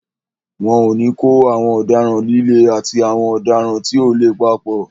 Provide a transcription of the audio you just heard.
Wọn ò ní kó àwọn ọ̀daràn líle àti àwọn ọ̀daràn tí ò le papọ̀.